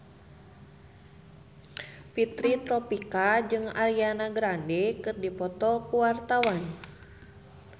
Fitri Tropika jeung Ariana Grande keur dipoto ku wartawan